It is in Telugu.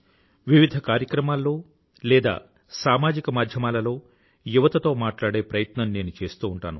వివిధ కార్యక్రమాల్లో లేదా సామాజిక మాధ్యమాలలోయువతతో మాట్లాడే ప్రయత్నం నేను చేస్తూ ఉంటాను